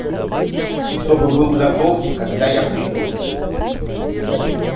чтобы был готов когда я приду